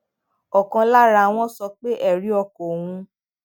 òkan lára wọn sọ pé èrí ọkàn òun